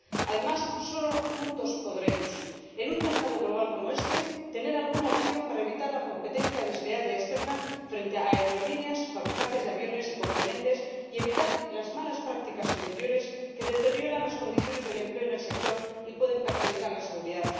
Además, solo juntos podremos, en un mercado global como este, tener alguna opción para evitar la competencia desleal y externa frente a aerolíneas y fabricantes de aviones y componentes, y evitar las malas prácticas interiores que deterioran las condiciones del empleo en el sector y pueden perjudicar la seguridad.